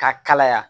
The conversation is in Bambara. K'a kalaya